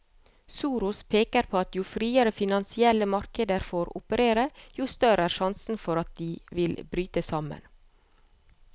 Soros peker på at jo friere finansielle markeder får operere, jo større er sjansen for at de vil bryte sammen.